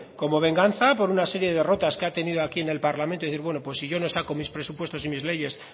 como venganza por una serie de derrotas que ha tenido aquí en el parlamento y decir bueno si yo no saco mis presupuestos y mis leyes